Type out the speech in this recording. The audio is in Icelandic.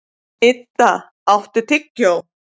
Idda, áttu tyggjó?